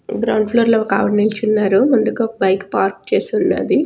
Ground floor లో ఒక్కావిడ నిల్చున్నారుముందుగా ఒక్క బైక్ పార్క్ చేసున్నది.